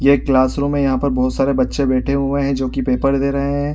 यह classroom है यहाँ पर बहुत सारे बच्चे बैठे हुए हैं जो की पेपर दे रहे हैं।